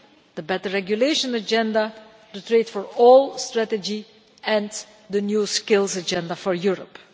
the Better Regulation agenda, the Trade for All Strategy and the New Skills Agenda for Europe.